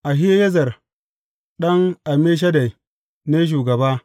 Ahiyezer ɗan Ammishaddai ne shugaba.